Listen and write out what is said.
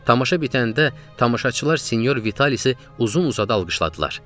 Tamaşa bitəndə tamaşaçılar sinyor Vitalisi uzun-uzadı alqışladılar.